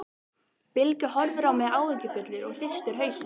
Bylgja horfir á mig áhyggjufull og hristir hausinn.